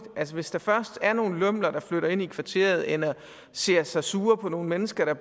hvis der først er nogle lømler der flytter ind i kvarteret eller ser sig sure på nogle mennesker der